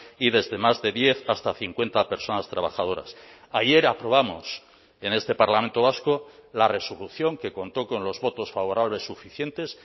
y desde más de diez hasta cincuenta personas trabajadoras ayer aprobamos en este parlamento vasco la resolución que contó con los votos favorables suficientes